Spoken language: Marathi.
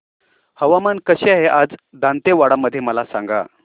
हवामान कसे आहे आज दांतेवाडा मध्ये मला सांगा